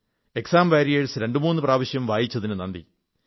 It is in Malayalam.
എക്സാം വരിയേഴ്സ് രണ്ടുമൂന്നു പ്രാവശ്യം വായിച്ചതിന് നന്ദി